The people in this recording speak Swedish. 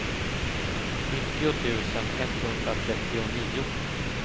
nittio tusen etthundratrettionio